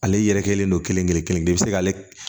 Ale yɛrɛ kɛlen don kelenkelen kelen-kelen bɛ se k'ale